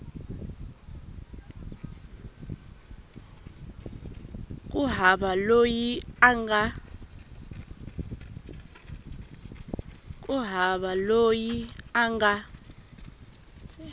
ku hava loyi a nga